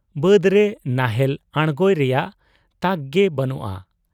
ᱵᱟᱹᱫᱽᱨᱮ ᱱᱟᱦᱮᱞ ᱟᱬᱜᱚᱭ ᱨᱮᱭᱟᱝ ᱛᱟᱠᱜᱮ ᱵᱟᱹᱱᱩᱜ ᱟ ᱾